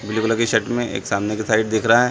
Blue colour की shirt में एक सामने की साइड दिख रहा हैं ।